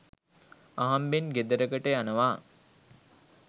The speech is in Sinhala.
අහම්බෙන් ගෙදරකට යනවා.